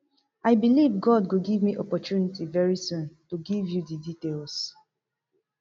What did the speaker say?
i believe god go give me opportunity very soon to give you di details